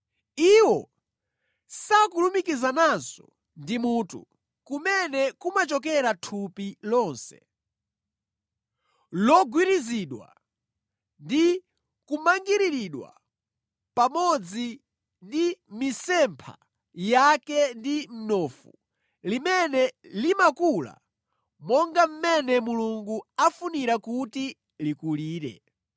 Iwo sakulumikizananso ndi mutu, kumene kumachokera thupi lonse, logwirizidwa ndi kumangiriridwa pamodzi ndi mʼmitsempha yake ndi mnofu, limene limakula monga mmene Mulungu afunira kuti likulire.